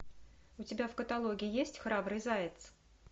у тебя в каталоге есть храбрый заяц